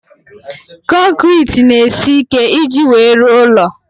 Konkiriti n'esi ike iji wee rụọ ụlọ